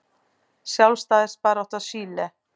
Sjálfstæðisbarátta Chile.